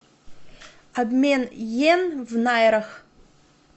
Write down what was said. обмен йен в найрах